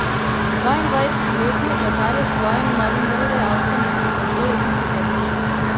Dvaindvajsetletni vratar je s svojim novim delodajalcem podpisal dvoletno pogodbo.